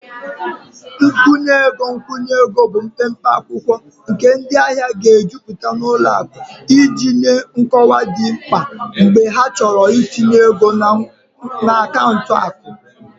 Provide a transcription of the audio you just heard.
Nkwụnye ego nkwụnye ego bụ mpempe akwụkwọ nke ndị ahịa ga-ejupụta na ụlọ akụ iji nye nkọwa dị mkpa mgbe ha chọrọ itinye ego na akaụntụ akụ